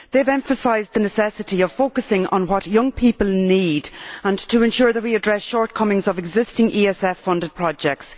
They have emphasised the necessity of focusing on what young people need and to ensure that we address shortcomings of existing ESF funded projects.